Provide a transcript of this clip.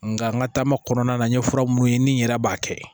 Nka n ka taama kɔnɔna na n ye fura minnu ye ni n yɛrɛ b'a kɛ